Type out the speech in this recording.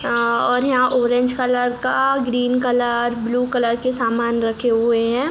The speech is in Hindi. अअअ और यहाँ ऑरेंज कलर का ग्रीन कलर ब्लू कलर के सामान रखे हुए हैं।